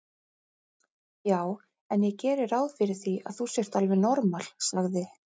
Já en ég geri ráð fyrir því að þú sért alveg normal, sagði